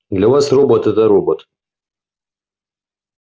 для вас робот это робот